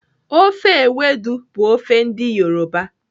Ofe ewedu bụ ofe ndị Yoruba.